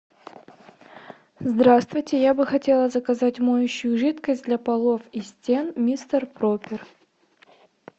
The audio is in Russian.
здравствуйте я бы хотела заказать моющую жидкость для полов и стен мистер пропер